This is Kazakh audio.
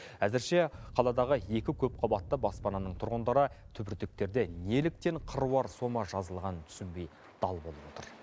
әзірше қаладағы екі көпқабатты баспананың тұрғындары түбіртектерде неліктен қыруар сома жазылғанын түсінбей дал болып отыр